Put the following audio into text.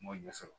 N m'o ɲɛ sɔrɔ